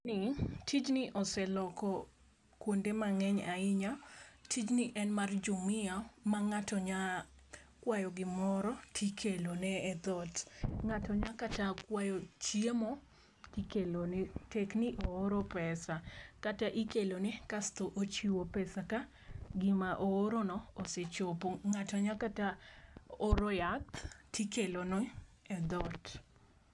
Tijni oseloko kuonde mang'eny ahinya. Tijni en mar Jumia ma ng'ato nyalo kwayo gimoro to ikelo ne e dhot. Ng'ato nyalo kata kwayo chiemo tikelo ne tek ni ooro pesa. Kata ikelone kaesto ochiwo pesa ka gima o oro no osechopo. Ng'ato nyakata oro yath tikelo ne e dhot.